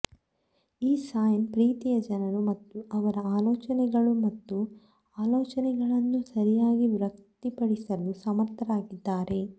ಈ ಸೈನ್ ಪ್ರೀತಿಯ ಜನರು ಮತ್ತು ಅವರ ಆಲೋಚನೆಗಳು ಮತ್ತು ಆಲೋಚನೆಗಳನ್ನು ಸರಿಯಾಗಿ ವ್ಯಕ್ತಪಡಿಸಲು ಸಮರ್ಥರಾಗಿದ್ದಾರೆ